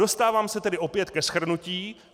Dostáváme se tedy opět ke shrnutí.